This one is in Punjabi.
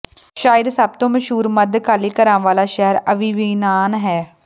ਸ਼ਾਇਦ ਸਭ ਤੋਂ ਮਸ਼ਹੂਰ ਮੱਧਕਾਲੀ ਘਰਾਂ ਵਾਲਾ ਸ਼ਹਿਰ ਆਵੀਵਨਾਨ ਹੈ